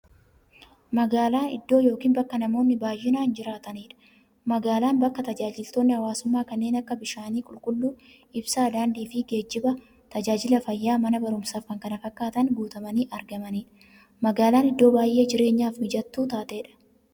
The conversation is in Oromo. Magaalaan iddoo yookiin bakka namoonni baay'inaan jiraataniidha. Magaalaan bakka taajajilootni hawwaasummaa kanneen akka; bishaan qulqulluu, ibsaa, daandiifi geejjiba, taajajila fayyaa, Mana baruumsaafi kanneen kana fakkatan guutamanii argamaniidha. Magaalaan iddoo baay'ee jireenyaaf mijattuu taateedha.